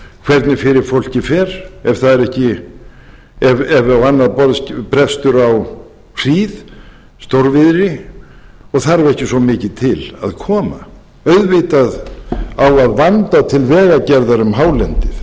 hvernig fyrir fólkið fer ef það á annað borð brestur á hríð stórviðri og þarf ekki svo mikið til að koma auðvitað á að vanda til vegagerðar um hálendið